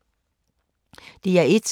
DR1